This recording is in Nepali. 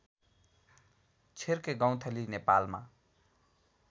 छिर्के गौँथली नेपालमा